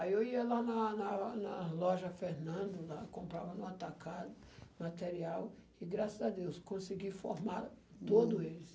Aí eu ia lá na na na loja Fernando lá, comprava no atacado, material, e graças a Deus consegui formar todos eles.